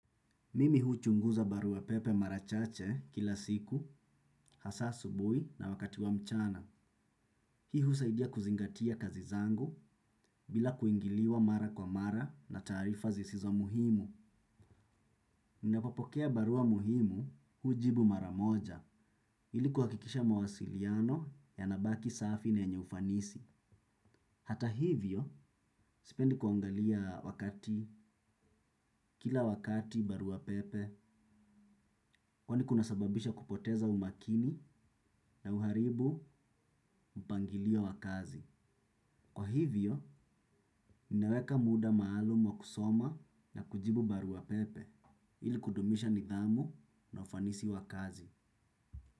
Mimi huchunguza barua pepe mara chache kila siku, hasa asubuhi na wakati wa mchana. Hii husaidia kuzingatia kazi zangu bila kuingiliwa mara kwa mara na taarifa zisizo muhimu. Ninapopokea barua muhimu hujibu mara moja ili kuhakikisha mawasiliano yanabaki safi na yenye ufanisi. Hata hivyo, sipendi kuangalia wakati, kila wakati barua pepe, kwani kunasababisha kupoteza umakini na uharibu mpangilio wa kazi. Kwa hivyo, ninaweka muda maalumu wa kusoma na kujibu barua pepe, ili kudumisha nidhamu na ufanisi wa kazi.